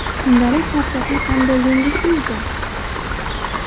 Kundalik charchoqni qanday yengish mumkin?.